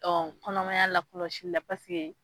Ɔ kɔnɔmaya lakɔlɔsilila paseke.